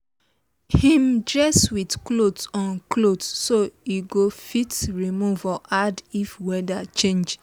him dress with cloth on cloth so e go fit remove or add if weather change